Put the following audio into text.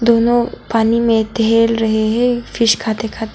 दोनों पानी में टहल रहे है फिश खाते खाते।